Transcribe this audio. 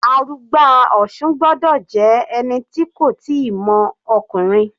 Arugba Osun gbọ́dọ̀ jẹ́ ẹni tí kò tíì mọ ọkùnrin.